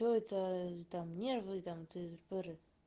все это ээ там нервы там тыры пыры